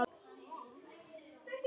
Eitt stórt há og búið.